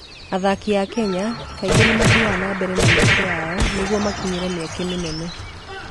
Athaki a Kenya kaingĩ nĩ mathiaga na mbere na mĩeke yao nĩguo makinyĩre mĩeke mĩnene.